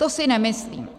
To si nemyslím.